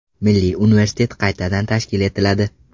Milliy universitet qaytadan tashkil etiladi.